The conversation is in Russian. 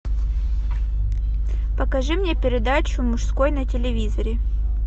покажи мне передачу мужской на телевизоре